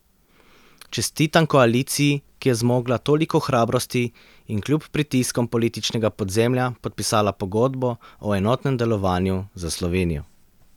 Čestitam koaliciji, ki je zmogla toliko hrabrosti in kljub pritiskom političnega podzemlja podpisala pogodbo o enotnem delovanju za Slovenjo.